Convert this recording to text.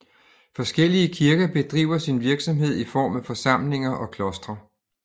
Forskellige kirker bedriver sin virksomhed i form af forsamlinger og klostre